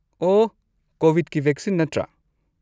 ꯑꯣꯍ, ꯀꯣꯕꯤꯗꯀꯤ ꯚꯦꯛꯁꯤꯟ ꯅꯠꯇ꯭ꯔꯥ?